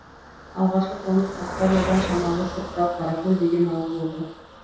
алғашқы қоныс қасқа жолдан шамалы сырттау қаракөл деген ауыл болды